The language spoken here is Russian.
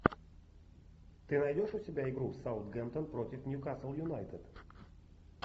ты найдешь у себя игру саутгемптон против ньюкасл юнайтед